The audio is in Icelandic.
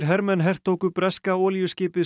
hermenn hertóku breska olíuskipið